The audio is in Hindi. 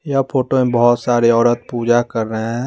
यह फोटो में बहुत सारे औरत पूजा कर रहे हैं।